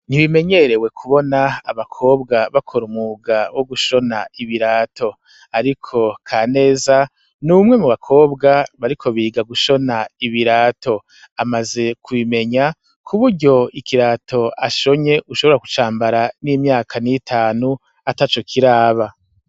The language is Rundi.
Ntibimenyerewe kubona abakobwa bakora umwuga wo gushona ibirato, ariko Kaneza n'umwe mu bakobwa bariko biga gushona ibirato, amaze kubimenya kuburyo ikirato ashonye ushobora kucambara n'imyaka n'itanu atacokiraba.